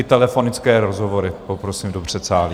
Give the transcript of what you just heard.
I telefonické rozhovory poprosím do předsálí.